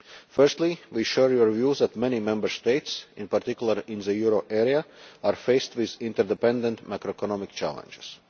Firstly we share your view that many Member States, in particular in the euro area, are faced with inter-dependent macroeconomic challenges.